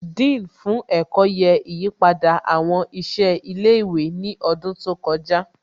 Dean fún ẹ̀kọ́ yẹ ìyípadà àwọn ìṣe ilé ìwé ní ọdún tó kọjá